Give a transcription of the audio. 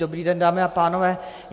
Dobrý den, dámy a pánové.